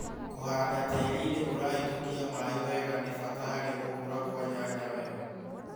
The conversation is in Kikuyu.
kũhanda tĩĩri-inĩ urahĩtũkia maĩ wega ni bata harĩ gũkũra kwa nyanya wega